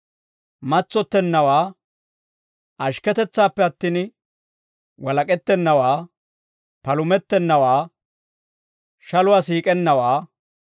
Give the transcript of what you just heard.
matsottennawaa, ashikketetsaappe attin walak'ettennawaa, palumettennawaa, shaluwaa siik'ennawaa,